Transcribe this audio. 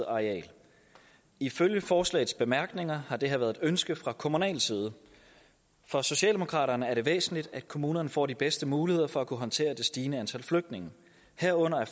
areal ifølge forslagets bemærkninger har det her været et ønske fra kommunal side for socialdemokraterne er det væsentligt at kommunerne får de bedste muligheder for at kunne håndtere det stigende antal flygtninge herunder